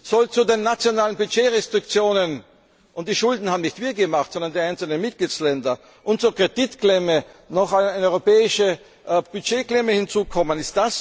Soll zu den nationalen Budgetrestriktionen und die Schulden haben nicht wir gemacht, sondern die einzelnen Mitgliedstaaten und zur Kreditklemme noch eine europäische Budgetklemme hinzukommen?